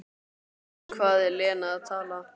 Um hvað er Lena að tala?